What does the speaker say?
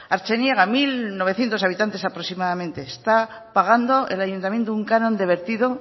artzineaga mil novecientos habitantes aproximadamente está pagando el ayuntamiento un canon de vertido